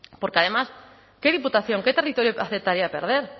porque además qué diputación qué territorio aceptaría perder